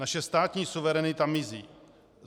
Naše státní suverenita mizí.